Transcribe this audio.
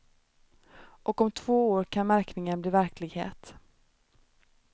Och om två år kan märkningen bli verklighet.